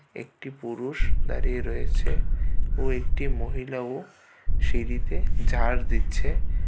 একটি পুরুষ দাঁড়িয়ে রয়েছে ও একটি মহিলাও সিঁড়িতে ঝাড় দিচ্ছে।